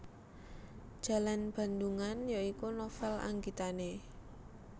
Jalan Bandungan ya iku novel anggitane